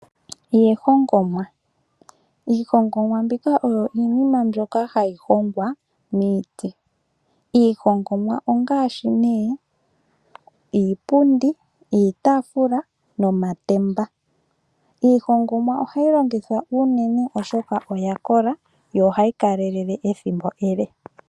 Iihongomwa Iihongomwa mbika oyo iinima mbyoka hayi hongwa niiti. Iihongomwa ongaashi : iipundi, iitaafula nomatemba. Iihongomwa ohayi longithwa unene oshoka oya kola yo ohayi kalelele ethimbo ele.